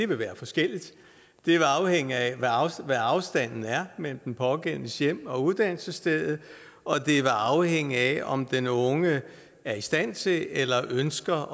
vil være forskelligt det vil afhænge af hvad afstanden er mellem den pågældendes hjem og uddannelsesstedet og det vil afhænge af om den unge er i stand til eller ønsker